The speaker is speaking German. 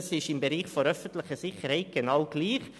Im Bereich der öffentlichen Sicherheit ist es genau gleich.